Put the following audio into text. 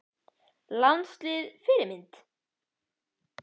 Landslið Fyrirmynd?